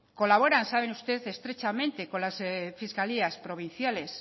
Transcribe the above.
colaboran sabe usted estrechamente con las fiscalías provinciales